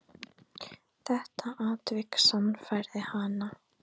Þetta atvik sannfærði hana.